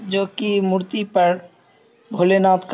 जो की मूर्ति पर भोलेनाथ का--